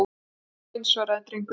Tuttugu og eins, svaraði drengurinn.